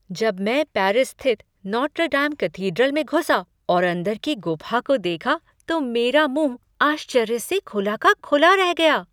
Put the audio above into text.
जब मैं पेरिस स्थित नोत्र डेम कैथेड्रल में घुसा और अंदर की गुफा को देखा तो मेरा मुंह आश्चर्य से खुला का खुला रह गया।